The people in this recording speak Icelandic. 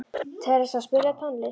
Theresa, spilaðu tónlist.